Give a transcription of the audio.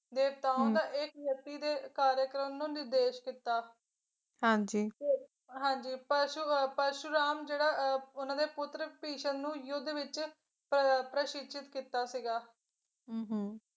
ਦੇਵਵਰਤ ਨੂੰ ਯਤੀ ਦੇ ਕਾਰਿਆਕ੍ਰਮ ਦਾ ਨਿਰਦੇਸ਼ ਦਿੱਤਾ ਹਾਂਜੀ ਪਸ਼ੂ ਪਰਸ਼ੁਰਾਮ ਜਿਹੜਾ ਉਹਨਾਂ ਦੇ ਪੁੱਤਰ ਭਿਸ਼ਮ ਨੂੰ ਯੁੱਧ ਵਿੱਚ ਪ ਪ੍ਰਕਸ਼ਿਸ਼ਤ ਕੀਤਾ ਸੀਗਾ ਹੁੰ ਹੁੰ